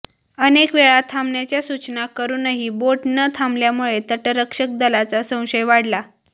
अनेकवेळा थांबण्याच्या सूचना करुनही बोट न थांबल्यामुळे तटरक्षक दलाचा संशय वाढला